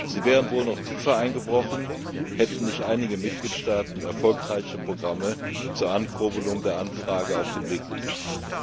Sie wären wohl noch tiefer eingebrochen, hätten nicht einige Mitgliedstaaten erfolgreiche Programme zur Ankurbelung der Anfrage auf den Weg gebracht.